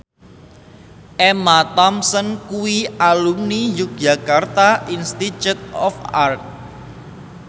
Emma Thompson kuwi alumni Yogyakarta Institute of Art